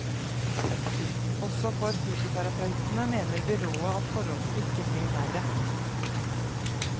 Også for fysioterapeutene mener byrådet at forholdene ikke blir verre.